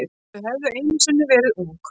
Þau höfðu einu sinni verið ung.